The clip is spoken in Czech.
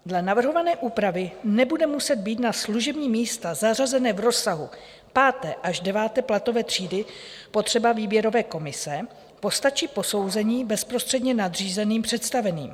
Dle navrhované úpravy nebude muset být na služební místa zařazená v rozsahu 5. až 9. platové třídy potřeba výběrové komise, postačí posouzení bezprostředně nadřízeným představeným.